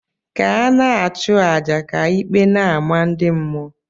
Ka ana achu aja ka íkpè n' ama ndị mmụọ.